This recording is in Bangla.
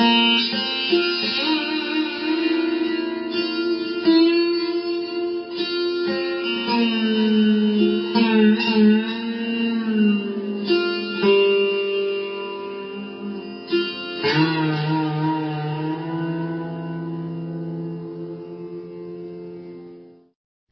sound clip 21 seconds instrument Sursingar artist Joydeep Mukherjee